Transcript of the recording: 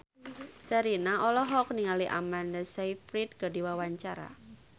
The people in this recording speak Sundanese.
Sherina olohok ningali Amanda Sayfried keur diwawancara